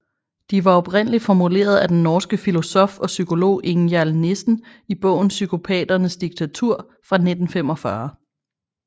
De var oprindeligt formuleret af den norske filosof og psykolog Ingjald Nissen i bogen Psykopaternes diktatur fra 1945